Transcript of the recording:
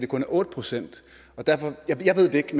kun otte procent jeg ved det ikke